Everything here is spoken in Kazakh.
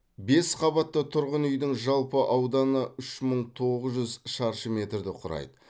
бес қабатты тұрғын үйдің жалпы ауданы үш мың тоғыз жүз шаршы метрді құрайды